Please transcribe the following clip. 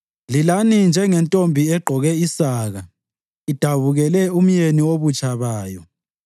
Lilani njengentombi egqoke isaka idabukele umyeni wobutsha bayo.